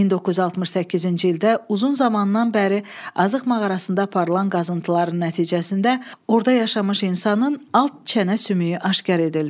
1968-ci ildə uzun zamandan bəri Azıq mağarasında aparılan qazıntıların nəticəsində orada yaşamış insanın alt çənə sümüyü aşkar edildi.